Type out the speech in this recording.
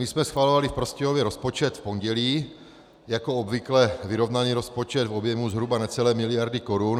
My jsme schvalovali v Prostějově rozpočet v pondělí, jako obvykle vyrovnaný rozpočet v objemu zhruba necelé miliardy korun.